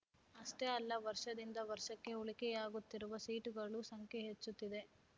ಅಷ್ಟೇ ಅಲ್ಲ ವರ್ಷದಿಂದ ವರ್ಷಕ್ಕೆ ಉಳಿಕೆಯಾಗುತ್ತಿರುವ ಸೀಟುಗಳ ಸಂಖ್ಯೆ ಹೆಚ್ಚುತ್ತಿದೆ